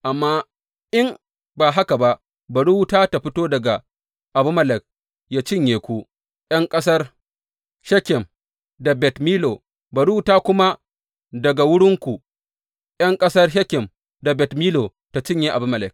Amma in ba haka ba, bari wuta ta fito daga Abimelek ya cinye ku, ’yan ƙasar Shekem da Bet Millo, bari wuta kuma daga wurinku ’yan ƙasar Shekem da Bet Millo ta cinye Abimelek!